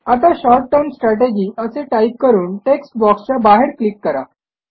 आता short term strategy असे type करून टेक्स्ट बॉक्सच्या बाहेर क्लिक करा